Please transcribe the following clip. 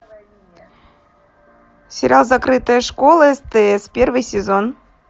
сериал закрытая школа стс первый сезон